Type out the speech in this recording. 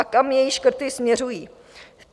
A kam její škrty směřují?